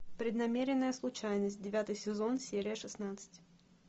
преднамеренная случайность девятый сезон серия шестнадцать